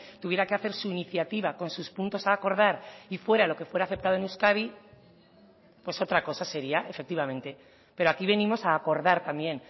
tuviera que hacer su iniciativa con sus puntos a acordar y fuera lo que fuera aceptado en euskadi pues otra cosa sería efectivamente pero aquí venimos a acordar también